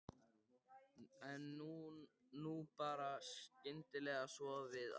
En nú bar skyndilega svo við að